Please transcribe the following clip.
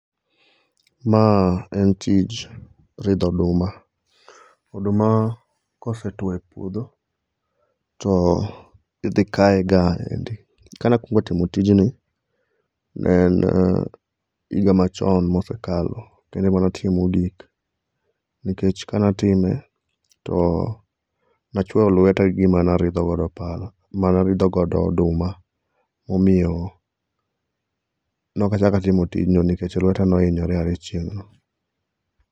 Ma en tij ridho oduma. Oduma kosetuo e puodho to idhi kaye gaendi. Kane akuongo timo tijni, en higa machon mosekalo. Kano ema ne atime mogik nikech kane atime to ne achuoyo lweta gi gima ne aridho godo pala manaridho godo oduma. Omiyo ne ok achako atimo tij no nikech lweta ne ohinyre ae chieng'no.